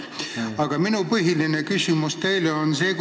Aga minu küsimus teile on see.